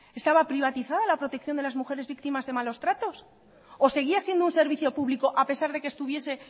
estaba privatiza la protección de las mujeres víctimas de malos tratos o seguía siendo un servicio público a pesar de que estuviese